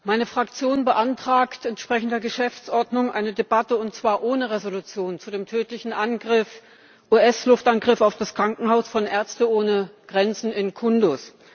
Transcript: Meine Fraktion beantragt entsprechend der Geschäftsordnung eine Debatte, und zwar ohne Entschließung, zu dem tödlichen US Luftangriff auf das Krankenhaus von Ärzte ohne Grenzen in Kundus.